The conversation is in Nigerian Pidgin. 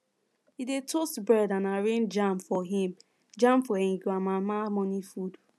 e dey toast bread and arrange jam for him jam for him grandmama morning food